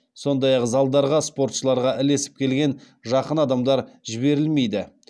сондай ақ залдарға спортшыларға ілесіп келген жақын адамдар жіберілмейді